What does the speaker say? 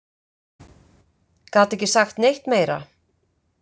Gat ekki sagt neitt meira.